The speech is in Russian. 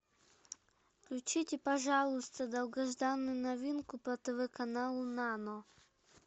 включите пожалуйста долгожданную новинку по тв каналу нано